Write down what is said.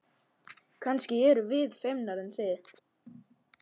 Kannski erum við feimnari en þið.